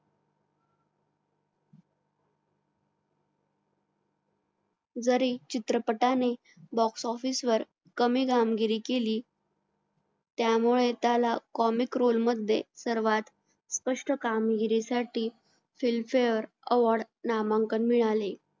जरी चित्रपटाने box office वर कमी कामगिरी केली त्यामुळे त्याला comic role मध्ये सर्वात कष्ट कामगिरीसाठी film fare award नामांकन मिळाले